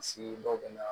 dɔw bɛ na